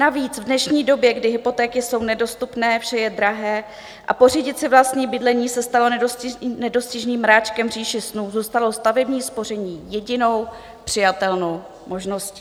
Navíc v dnešní době, kdy hypotéky jsou nedostupné, vše je drahé a pořídit si vlastní bydlení se stalo nedostižným mráčkem v říši snů, zůstalo stavební spoření jedinou přijatelnou možností.